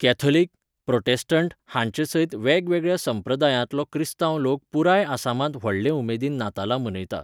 Catholic, Protestant हांचेसयत वेगवेगळ्या संप्रदायांतलो क्रिस्तांव लोक पुराय आसामांत व्हडले उमेदीन नातालां मनयता.